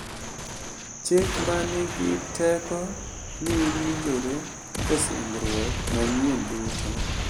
Chik ma nigi teko ni winjore e Singruok Manyien duto,